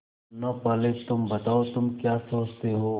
मुन्ना पहले तुम बताओ तुम क्या सोचते हो